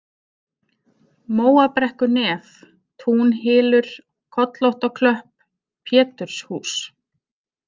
Móabrekkunef, Túnhylur, Kollóttaklöpp, Péturshús